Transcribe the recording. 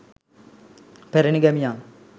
පැරැණි ගැමියන්